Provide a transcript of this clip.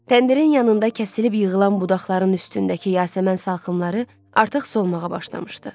Təndirin yanında kəsilib yığılan budaqların üstündəki yasəmən salxımları artıq solmağa başlamışdı.